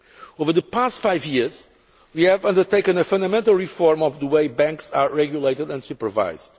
Over the past five years, we have undertaken a fundamental reform of the way banks are regulated and supervised.